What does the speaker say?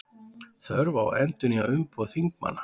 Þörf á að endurnýja umboð þingmanna